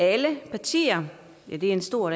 alle partier ja det er en stor